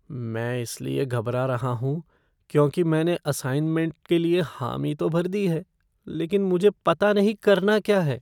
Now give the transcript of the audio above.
मैं इसलिए घबरा रहा हूँ, क्योंकि मैंने असाइनमेंट के लिए हामी तो भर दी है, लेकिन मुझे पता नहीं करना क्या है।